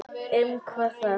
Hvað um það.